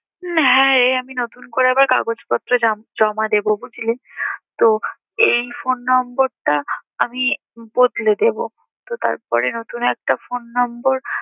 হ্যাঁ রে আমি নতুন করে আবার কাগজপত্র জম~জমা দেবো বুঝলি। তো এই phone number টা আমি বদলে দেবো। তো তারপরে নতুন একটা phone number